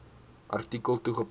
artikel toegepas